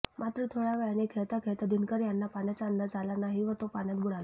मात्र थोड्या वेळाने खेळता खेळता दिनकर यांना पाण्याचा अंदाज आला नाही व तो पाण्यात बुडाला